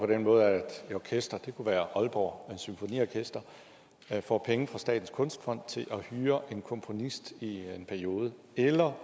den måde at et orkester det kunne være aalborg symfoniorkester får penge fra statens kunstfond til at hyre en komponist i en periode eller